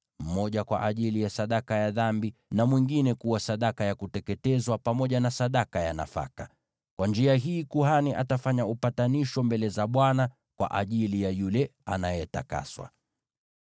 mmoja kwa ajili ya sadaka ya dhambi, na mwingine kuwa sadaka ya kuteketezwa, pamoja na sadaka ya nafaka. Kwa njia hii kuhani atafanya upatanisho mbele za Bwana kwa ajili ya yule anayetakaswa.”